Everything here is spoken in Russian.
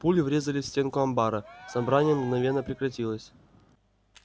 пули врезались в стенку амбара собрание мгновенно прекратилось